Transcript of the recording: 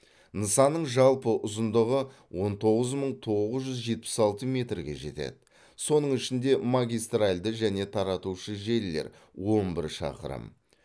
нысанның жалпы ұзындығы он тоғыз мың тоғыз жүз жетпіс алты метрге жетеді соның ішінде магистральды және таратушы желілер он бір шақырым